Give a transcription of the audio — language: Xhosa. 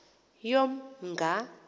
yomnga